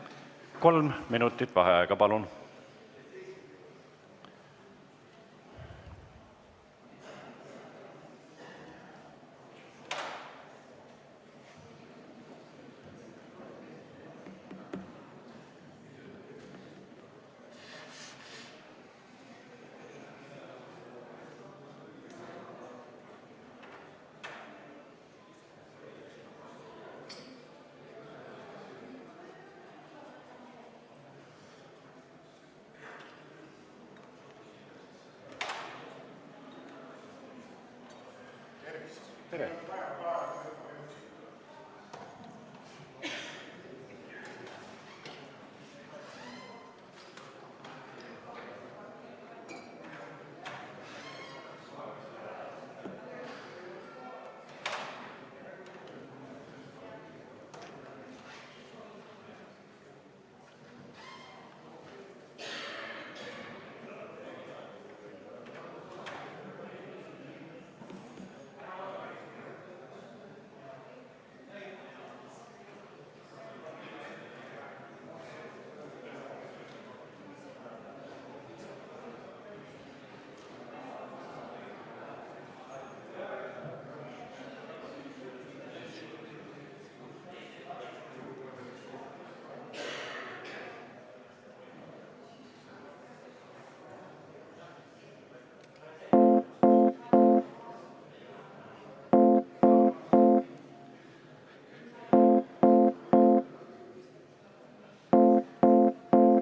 Kolm minutit vaheaega, palun!